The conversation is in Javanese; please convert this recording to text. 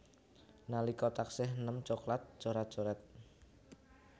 Nalika taksih eném coklat coret coret